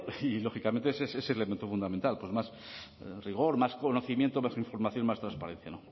y lógicamente ese es el elemento fundamental más rigor más conocimiento más información más transparencia